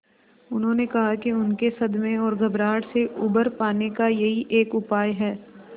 उन्होंने कहा कि उनके सदमे और घबराहट से उबर पाने का यही एक उपाय है